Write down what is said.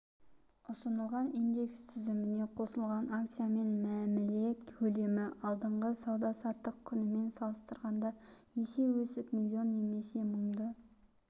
ұсынылған индекс тізіміне қосылған акциямен мәміле көлемі алдыңғы сауда-саттық күнімен салыстырғанда есе өсіп миллион немесе мыңды